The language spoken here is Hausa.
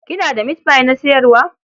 Kina da mitfai na sayarwa?